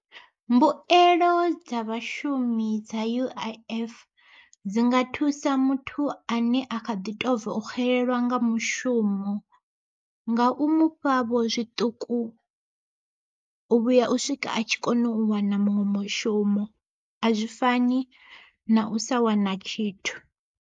Mbuelo dza vhashumi dza U_I_F, dzi nga thusa muthu ane a kha ḓi tou bva u xelelwa nga mushumo. Nga u mufha vho zwiṱuku, u vhuya u swika a tshi kona u wana muṅwe mushumo a zwi fani na u sa wana tshithu.